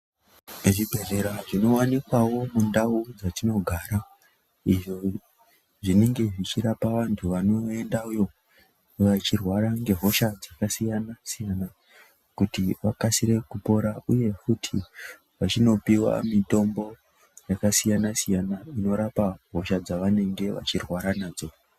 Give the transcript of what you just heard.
Zvi bhedhlera zvino wanikwawo mundau dzatino gara izvo zvinenge zvichi rapa vantu vanoendayo vachi rwara nge hosha dzaka siyana siyana kuti vakasire kupora uye futi vachino piwa mutombo yaka siyana siyana inorapa hosha dzavanenge vachi rwara nadzo.